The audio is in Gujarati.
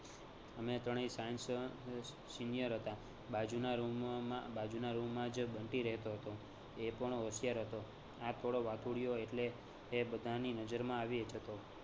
અમે ત્રણેય science senior હતાં બાજુના room માં બાજુના room માં જ બંટી રહેતો હતો એ પણ હોશિયાર હતો. હા થોડો વાતુડીઓ એટલે એ બધાની નજરમાં આવી એ જતો